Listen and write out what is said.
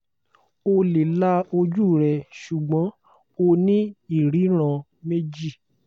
o le la oju rẹ ṣugbọn o ni iriran meji